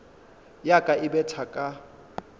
ya ka e betha ka